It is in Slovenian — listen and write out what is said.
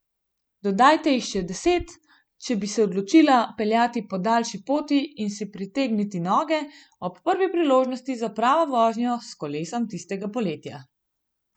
Dodajte jih še deset, če bi se odločila peljati po daljši poti in si pretegniti noge ob prvi priložnosti za pravo vožnjo s kolesom tistega poletja.